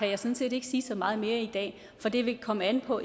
jeg sådan set ikke sige så meget mere i dag for det vil komme an på